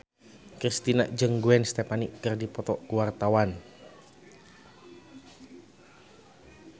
Kristina jeung Gwen Stefani keur dipoto ku wartawan